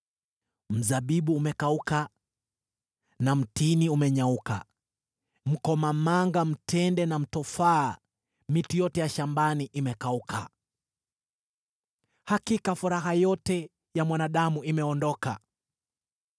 Mzabibu umekauka na mtini umenyauka; mkomamanga, mtende na mtofaa, miti yote shambani, imekauka. Hakika furaha yote ya mwanadamu imeondoka.